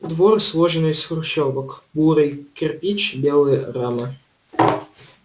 двор сложен из хрущёвок бурый кирпич белые рамы